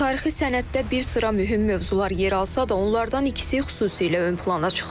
Tarixi sənəddə bir sıra mühüm mövzular yer alsa da, onlardan ikisi xüsusilə ön plana çıxır.